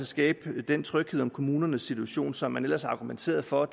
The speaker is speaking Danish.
skabe den tryghed om kommunernes situation som man ellers argumenterede for